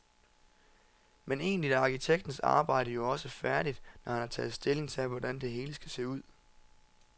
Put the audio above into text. Men egentlig er arkitektens arbejde jo også færdigt, når han har taget stilling til, hvordan det hele skal se ud.